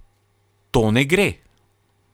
To ne gre.